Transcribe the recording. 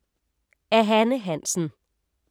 Af Hanne Hansen